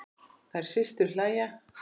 Þær systur hlæja.